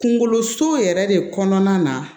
Kunkoloso yɛrɛ de kɔnɔna na